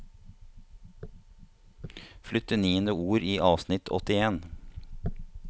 Flytt til niende ord i avsnitt åttien